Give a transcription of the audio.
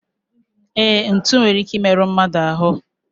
E, ntụ nwere ike I meru mmadụ ahu